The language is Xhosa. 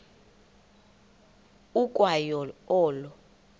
ukwa yo olo